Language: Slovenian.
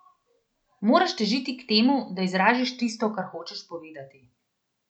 Moraš težiti k temu, da izraziš tisto, kar hočeš povedati.